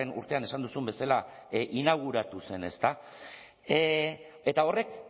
urtean esan duzun bezala inauguratu zen ezta eta horrek